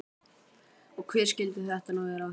Og hver skyldi þetta nú vera?